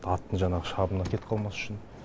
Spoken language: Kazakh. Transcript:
аттың жаңағы шабына кетіп қалмас үшін